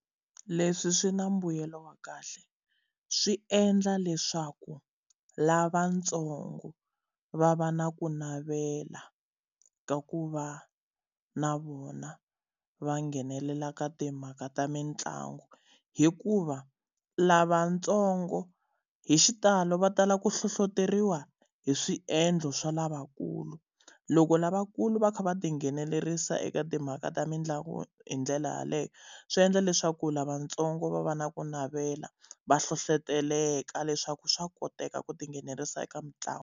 Leswi swi na mbuyelo wa kahle swi endla leswaku lavatsongo va va na ku navela ka ku va na vona va nghenelela ka timhaka ta mitlangu. Hikuva lavatsongo hi xitalo va tala ku hlohleteriwa hi swiendlo swa lavakulu. Loko lavakulu va kha va tinghenelerisa eka timhaka ta mitlangu hi ndlela yaleyo, swi endla leswaku lavatsongo va va na ku navela va hlohletelaka leswaku swa koteka ku tinghenelerisa eka mitlangu.